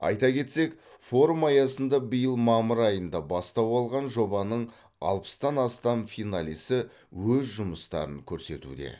айта кетсек форум аясында биыл мамыр айында бастау алған жобаның алпыстан астам финалисі өз жұмыстарын көрсетуде